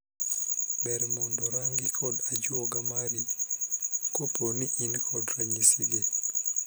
Ber mondo rangi kod ajuoga mari kopo in kod ranyisigi.